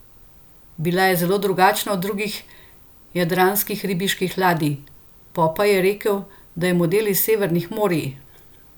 Bila je zelo drugačna od drugih jadranskih ribiških ladij, Popaj je rekel, da je model iz severnih morij.